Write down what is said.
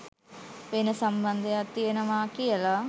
වෙන සම්බන්ධයක් තියෙනවා කියලා.